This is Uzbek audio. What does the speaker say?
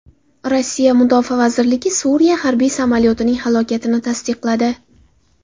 Rossiya mudofaa vazirligi Suriya harbiy samolyotining halokatini tasdiqladi.